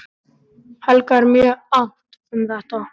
Helga er mjög annt um þetta, en